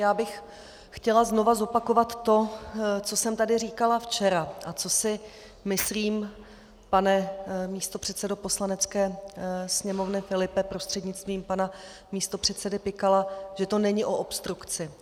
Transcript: Já bych chtěla znova zopakovat to, co jsem tady říkala včera a co si myslím, pane místopředsedo Poslanecké sněmovny Filipe prostřednictvím pana místopředsedy Pikala, že to není o obstrukci.